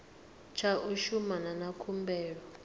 tsha u shumana na khumbelo